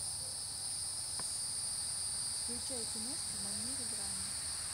включай киношку в манере драмы